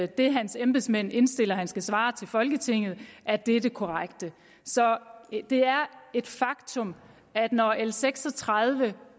det hans embedsmænd indstiller han skal svare til folketinget er det er det korrekte så det er et faktum at når l seks og tredive